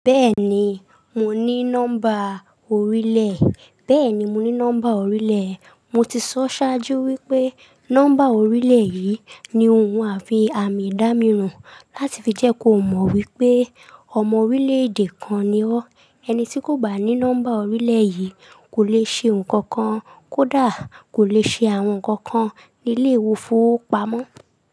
Bẹ́ẹ̀ni, mo ní nọ́mbà orílẹ̀. Bẹ́ẹ̀ni, mo ní nọ́mbà orílẹ̀. Mo ti sọ sáájú wípé nọ́mbà orílẹ̀ yìí ni ohun àfi àmì ìdámíran láti fi jẹ́ kó mọ̀ wípé ọmọ orílẹ̀-èdè kan ni ọ́. Ẹni tí kò bá ní nọ́mbà orílẹ̀ yìí kò lè ṣe nǹkan kan kódà kò lè ṣe àwọn nǹkan kan nílé ìfowópamọ́.